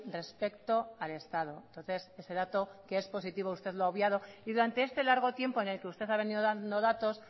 respecto al estado entonces ese dato que es positivo usted lo ha obviado y durante este largo tiempo en que usted ha venido dando datos